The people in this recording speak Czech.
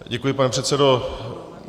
Děkuji, pane předsedo.